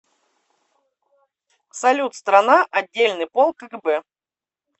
салют страна отдельный полк кгб